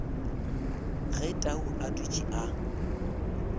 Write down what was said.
ge tau a dutše a